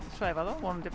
svæfa þá og vonandi